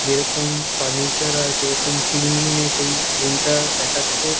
যেরকম ফার্নিচার আর যেরকম ক্লিনলিনেস সেই রুম -টা দেখাচ্ছে।